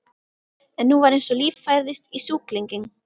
En nú var eins og líf færðist í sjúklinginn.